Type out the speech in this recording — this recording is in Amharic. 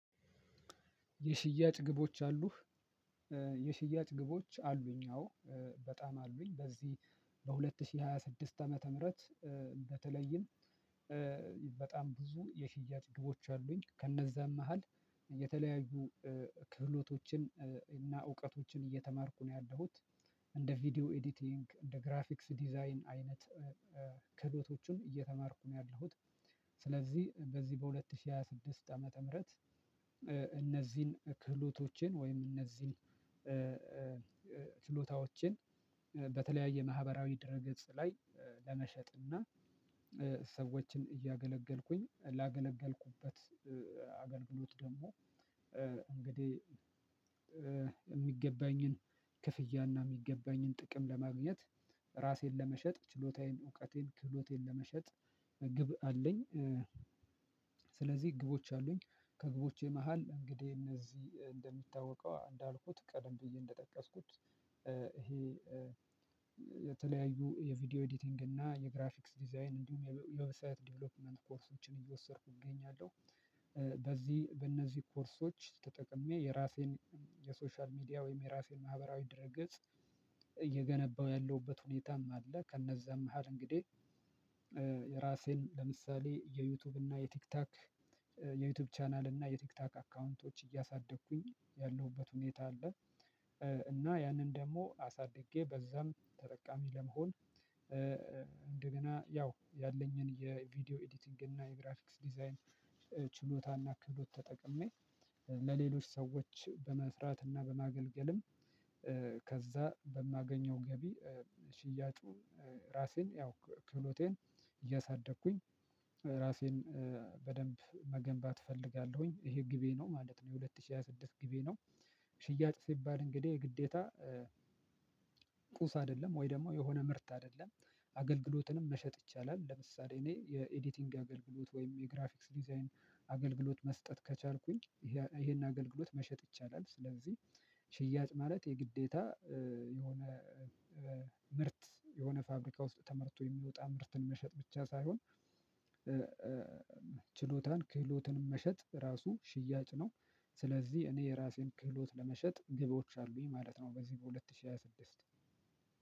የሽያጭ ግቦች አሉህ? የሽያጭ ግቦች አሉኝ አዎ። በጣም አሉኝ በዚህ በሁለት ሺህ ሃያ ስድስት ዓመተ ምህረት በተለይም በጣም ብዙ የሽያጭ ግቦች አሉኝ፤ ከነዛም መሃል የተለያዩ ክህሎቶችን እና እውቀቶችን እየተማርኩ ነው ያለሁት። እንደ ቪዲዮ ኤዲቲንግ እንደ ግራፊክስ ዲዛይን አይነት ክህሎቶችን እየተማርኩ ነው ያለሁት። ስለዚህ በዚህ በሁለት ሺህ ሃያ ስድስት ዓመተ ምህረት እነዚህን ክህሎቶችን ወይም እነዚህን ችሎታዎችን በተለያየ ማህበራዊ ድረ ገጽ ላይ ለመሸጥ እና ሰዎችን እያገለገልኩኝ ላገለገልኩበት አገልግሎት ደግሞ እንግዲህ፤ የሚገባኝን ክፍያ እና የሚገባኝን ጥቅም ለማግኘት ራሴን ለመሸጥ ችሎታዬን እውቀቴን ክህሎቴን ለመሸጥ ግብ አለኝ። ስለዚህ ግቦች አሉኝ ከግቦቼ መሃል እንግዲህ እነዚህ እንደሚታወቀው እንዳልኩት ቀደም ብዬ እንደጠቀስኩት፣ ይሄ የቪዲዮ ኤዲቲንግ እና የግራፊክስ ዲዛይን እንዲሁም የዌብሳይት ዲቨሎፕመንት ኮርሶችን እየወሰድኩ እገኛለሁ። በዚህ በእነዚህ ኮርሶች ተጠቅሜ የራሴን የሶሻል ሚዲያ ወይም የራሴን ማህበራዊ ድረገጽ እየገነባው ያለውበት ሁኔታም አለ፤ ከነዛም መሃል እንግዲህ ለምሳሌ የዩቲዩብ እና የቲክቶክ የዩቲዩብ ቻናል እና የቲክቶክ አካውንቶች እያሳደግኩኝ ያለሁበት ሁኔታ አለ። እና ያንን ደግሞ አሳድጌ በዛም ተጠቃሚ ለመሆን፣ እንደገና ያው ያለኝን የቪዲዮ ኤዲቲንግ እና የግራፊክስ ዲዛይን ችሎታና ክህሎት ተጠቅሜ፣ ለሌሎች ሰዎች በመስራትና በማገልገልም ከዛ በማገኘው ገቢ ሽያጩ ራሴን ያው ክህሎቴን እያሳደግኩኝ ራሴን በደንብ መገንባት እፈልጋለሁኝ፤ ይሄ ግቤ ነው ማለት ነው የሁለት ሺህ ሃያ ስድስት ግቤ ነው። ሽያጭ ሲባል እንግዲህ የግዴታ ቁስ አይደለም ወይ ደግሞ የሆነ ምርት አይደለም። አገልግሎትንም መሸጥ ይቻላል። ለምሳሌ እኔ የኤዲቲንግ አገልግሎት ወይም የግራፊክስ ዲዛይን አገልግሎት መስጠት ከቻልኩኝ ይሄን አገልግሎት መሸጥ ይቻላ፤ ስለዚህ ሽያጭ ማለት የግዴታ የሆነ ምርት የሆነ ፋብሪካ ውስጥ ተመርቶ የሚወጣ ምርትን መሸጥ ብቻ ሳይሆን ችሎታን ክህሎትንም መሸጥ ራሱ ሽያጭ ነው። ስለዚህ እኔ የራሴን ክህሎት ለመሸጥ ግቦች አሉኝ ማለት ነው፤ በዚህ በሁለት ሺህ ሃያ ስድስት።